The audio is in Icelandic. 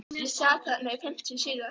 Ég sat þarna í fimmtíu sígar